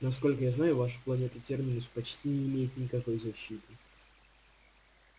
насколько я знаю ваша планета терминус почти не имеет никакой защиты